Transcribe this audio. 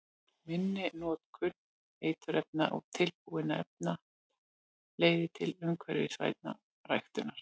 Minni notkun eiturefna og tilbúinna efna leiðir til umhverfisvænni ræktunar.